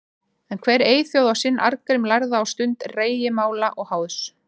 En hver eyþjóð á sinn Arngrím lærða á stund rægimála og háðs.